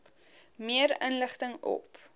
meer inligting op